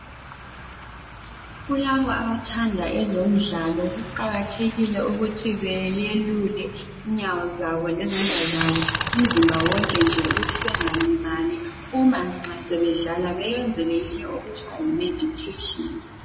Kulabo abathanda ezomdlalo, kuqakathekile ukuthi beyelule inyawo zabo lezandla zabo, umzimba wonke nje ukuthi bengalimali uma nxa sebedlala, beyenze leyinye okuthiwa yi meditheshini.